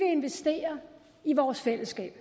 investere i vores fællesskab